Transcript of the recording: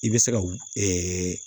I bɛ se ka w ɛɛ